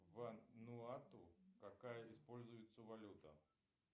вануату какая используется валюта